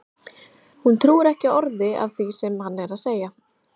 Hún trúir ekki orði af því sem hann er að segja!